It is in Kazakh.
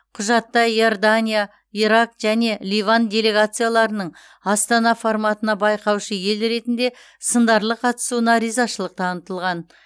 құжатта иордания ирак және ливан делегацияларының астана форматына байқаушы ел ретінде сындарлы қатысуына ризашылық танытылған